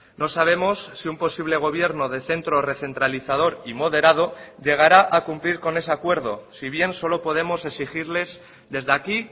no sabemos si un posible gobierno de centro recentralizador y moderado llegará a cumplir con ese acuerdo si bien solo podemos exigirles desde aquí